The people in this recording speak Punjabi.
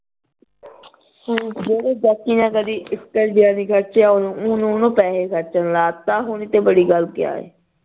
ਜਿਹੜੀ ਨੇ ਕਦੀ ਇਕ ਰੁਪਿਆ ਨੀ ਖਰਚਿਆ ਉਹਨੂੰ ਉਹਨੂੰ ਹੁਣ ਪੈਸੇ ਖਰਚਣ ਲਾ ਤਾ ਹੁਣ ਇਹਤੋਂ ਬੜੀ ਗੱਲ ਕਿਆ